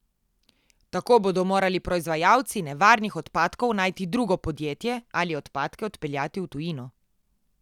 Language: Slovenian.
Tako bodo morali proizvajalci nevarnih odpadkov najti drugo podjetje ali odpadke odpeljati v tujino.